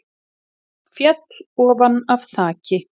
Féll ofan af þaki